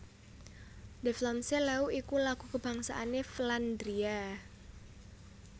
De Vlaamse Leeuw iku lagu kabangsané Flandria